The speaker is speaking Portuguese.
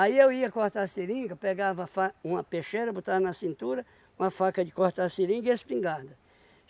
Aí eu ia cortar seringa, pegava a fa uma peixeira, botava na cintura, uma faca de cortar seringa e a espingarda.